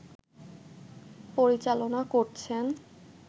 পরিচালনা করছেন